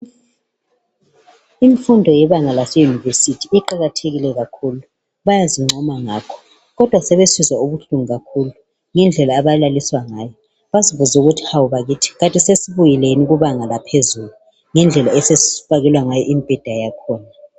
Imfundo yebanga lase University iqakathekile kakhulu bayazincoma ngayo, kodwa sebesizwa ubuhlungu kakhulu ngendlela abalaliswa ngayo emibhedeni yakhona abayithola khonalapho.